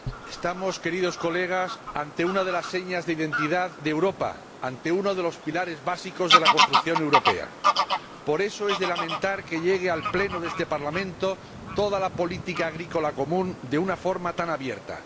Señora Presidenta, Señorías, estamos ante una de las señas de identidad de Europa, ante uno de los pilares básicos de la construcción europea. Por eso, es de lamentar que llegue al Pleno de este Parlamento toda la política agrícola común de una forma tan abierta.